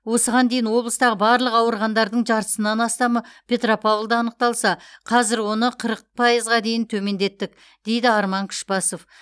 осыған дейін облыстағы барлық ауырғандардың жартысынан астамы петропавлда анықталса қазір оны қырық пайызға дейін төмендеттік дейді арман күшбасов